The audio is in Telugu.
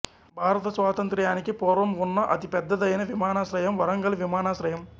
భారత స్వాంతంత్ర్యానికి పూర్వం ఉన్న అతి పెద్దదైన విమానాశ్రయం వరంగల్ విమానాశ్రయం